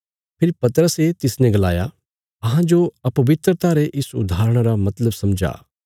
फेरी पतरसे तिसने गलाया अहांजो अपवित्रता रे इस उदाहरणा रा मतलब समझा